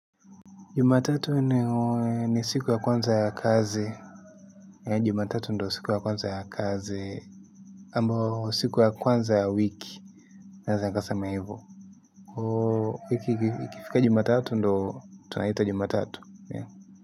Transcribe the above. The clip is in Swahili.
Jumatatu ni siku ya kwanza ya kazi. Jumatatu ndo siku ya kwanza ya kazi ambayo siku ya kwanza ya wiki. Naeza nikasema hivo. Kwa hiyo wiki ikifika juma tatu ndo tunaita jumatatu.